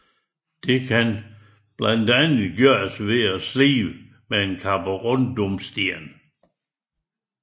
Det kan blandt andet gøres ved slibning med karborundumsten